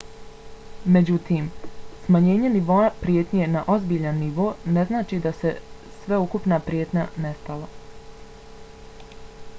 međutim smanjenje nivoa prijetnje na ozbiljan nivo ne znači da je sveukupna prijetnja nestala.